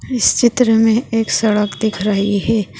इस चित्र मे एक सड़क दिख रही है।